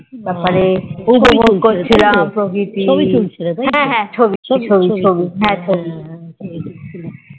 তারপরে উপভোগ করছিলাম হ্যাঁ ছবি তুলছিলাম হ্যাঁ হ্যাঁ ছবি ছবি